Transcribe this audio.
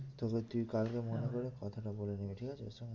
তবু তুই কালকে মনে করে কথাটা বলে নিবি ঠিক আছে? ওর সঙ্গে।